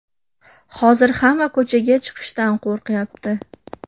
Hozir hamma ko‘chaga chiqishdan qo‘rqyapti.